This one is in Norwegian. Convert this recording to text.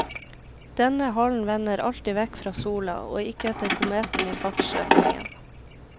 Denne halen vender alltid vekk fra sola, og ikke etter kometen i fartsretningen.